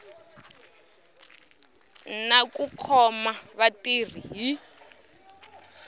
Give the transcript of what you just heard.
na ku khoma vatirhi hi